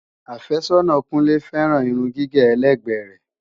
Àfẹ́sọ́nà Kúnlé féràn Irun gígé ẹlẹ́gbẹ́ rẹ.